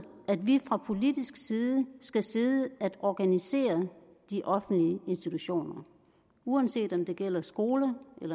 at vi fra politisk side skal sidde og organisere de offentlige institutioner uanset om det gælder skoler